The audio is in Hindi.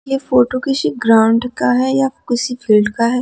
ये फोटो किसी ग्राउंड का है या किसी फील्ड का है।